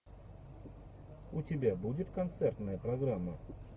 у тебя будет концертная программа